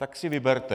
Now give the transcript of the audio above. Tak si vyberte.